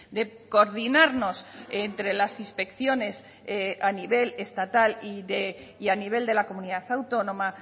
de coordinarnos entre las inspecciones a nivel estatal y a nivel de la comunidad autónoma